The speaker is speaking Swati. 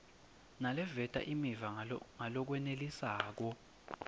naleveta imiva ngalokwenelisako